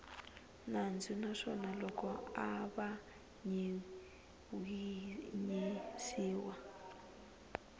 nandzu naswona loko a avanyisiwa